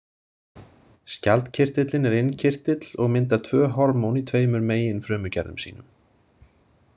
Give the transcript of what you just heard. Skjaldkirtillinn er innkirtill og myndar tvö hormón í tveimur megin frumugerðum sínum.